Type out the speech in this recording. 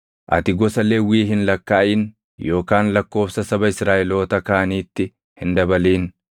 “Ati gosa Lewwii hin lakkaaʼin yookaan lakkoobsa saba Israaʼeloota kaaniitti hin dabalin.